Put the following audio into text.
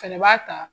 Fɛnɛ b'a ta